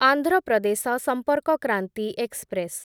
Andhra Pradesh Sampark Kranti express